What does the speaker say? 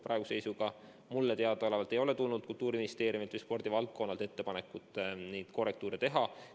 Praeguse seisuga mulle teadaolevalt ei ole Kultuuriministeeriumilt ega spordivaldkonnalt tulnud ettepanekut neid korrektuure teha.